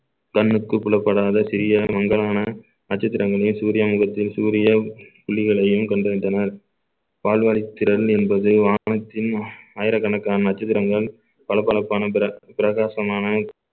கண்ணுக்கு புலப்படாத சிறிய மங்கலான அஜித் ரங்கனி சூர்யா முகத்தில் சூரிய புள்ளிகளையும் கண்டறிந்தனர் பால்வாய்த் திறன் என்பது வானத்தின் ஆயிரக்கணக்கான நட்சத்திரங்கள் பளபளப்பான பிர~ பிரகாசமான